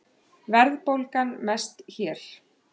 Verðbólgan mest hér